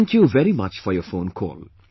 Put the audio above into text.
Thank you very much for your phone call